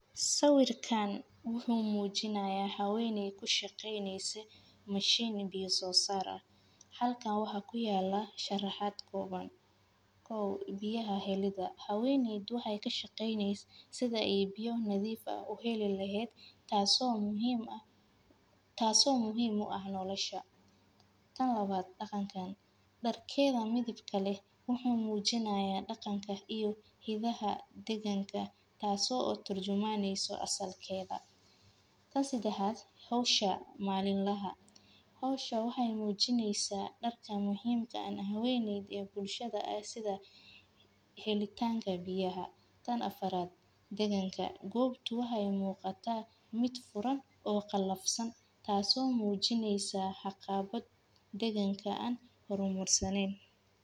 Sawirkan wuxumujinaya, haweney u shaqeyneysee mishiin miya sosarah, halkan waxa kuyala musharaxad kooban, kow biyaha helidaa, kadib waxay kashageyneysee sidaa ay biyaxa nadiif ah aad uhelilehed taaso muxiim u ah noloshaa, tan lawad daqankan, darkedha midibka leh wuxu mujinaya daqanka iyo hidaha daqanka, tasoo turjumaneyso asalkeda, taan sadaxad xowsha malin laha, xowsha waxay mujineysa darka muxiim ka haweneydii iyo bulshada ay sidaa helitanka biyaha, taan afaarad, qobtu waxay muqataa mid furaan oo qalafsan, taaso mujineysaa caqabad deqanka ah oo hormarsanen.